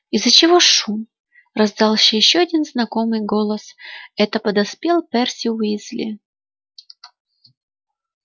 из-за чего шум раздался ещё один знакомый голос это подоспел перси уизли